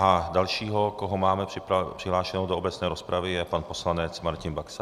A další, koho máme přihlášeného do obecné rozpravy, je pan poslanec Martin Baxa.